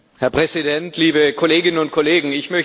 Herr Präsident, liebe Kolleginnen und Kollegen!